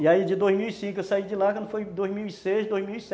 E aí de dois mil e cinco eu saí de lá, quando foi dois mil e seis, dois mil e sete.